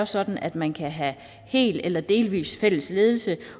sådan at man kan have helt eller delvis fællesledelse